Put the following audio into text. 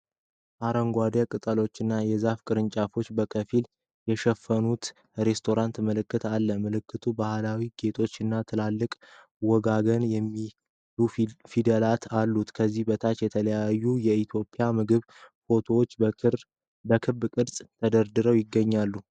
አረንጓዴ ቅጠሎችና የዛፍ ቅርንጫፎች በከፊል የሸፈኑት የሬስቶራንት ምልክት አለ። ምልክቱ ባህላዊ ጌጦች እና ትላልቅ "ወጋገን" የሚሉ ፊደላት አሉት። ከዚህ በታች የተለያዩ የኢትዮጵያ ምግቦች ፎቶዎች በክብ ቅርጽ ተደርድረው ይገኛሉ።